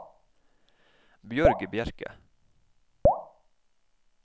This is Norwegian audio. Bjørg Bjerke